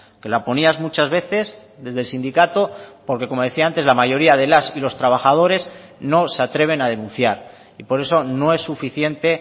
que la ponías muchas veces desde el sindicato porque como decía antes la mayoría de las y los trabajadores no se atreven a denunciar y por eso no es suficiente